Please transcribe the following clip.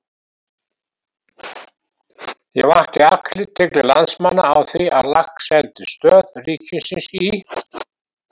Ég vakti athygli landsmanna á því að í Laxeldisstöð ríkisins í